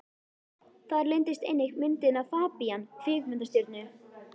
Þar leyndist einnig myndin af FABÍAN kvikmyndastjörnu.